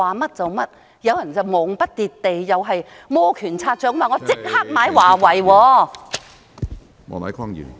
現在更有人忙不迭地摩拳擦掌......